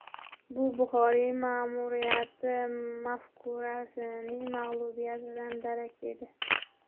Bu Buxoriy ma’muriyati mafkurasining mag‘lubiyatidan darak edi.